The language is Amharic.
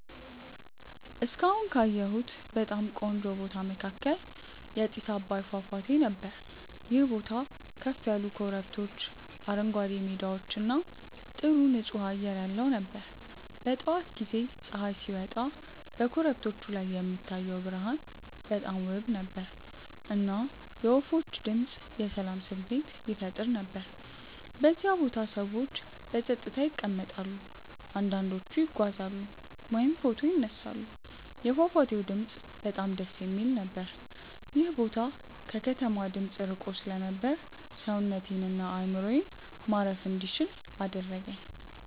እስካሁን ካየሁት በጣም ቆንጆ ቦታ መካከል የጥስ አባይ ፏፏቴ ነበር። ይህ ቦታ ከፍ ያሉ ኮረብቶች፣ አረንጓዴ ሜዳዎች እና ጥሩ ንፁህ አየር ያለው ነበር። በጠዋት ጊዜ ፀሐይ ሲወጣ በኮረብቶቹ ላይ የሚታየው ብርሃን በጣም ውብ ነበር፣ እና የወፎች ድምፅ የሰላም ስሜት ይፈጥር ነበር። በዚያ ቦታ ሰዎች በጸጥታ ይቀመጣሉ፣ አንዳንዶቹ ይጓዛሉ ወይም ፎቶ ይነሳሉ። የፏፏቴው ድምፅ በጣም ደስ የሚል ነበር። ይህ ቦታ ከከተማ ድምፅ ርቆ ስለነበር ሰውነቴን እና አእምሮዬን ማረፍ እንዲችል አደረገኝ።